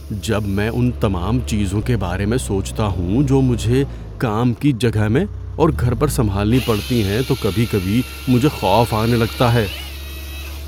جب میں ان تمام چیزوں کے بارے میں سوچتا ہوں جو مجھے کام کی جگہ میں اور گھر پر سنبھالنی پڑتی ہیں تو کبھی کبھی مجھے خوف آنے لگتا ہے۔